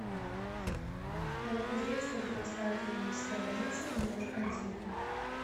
новокузнецкая городская клиническая больница номер один